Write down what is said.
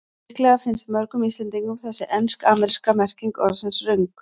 Líklega finnst mörgum Íslendingum þessi ensk-ameríska merking orðsins röng.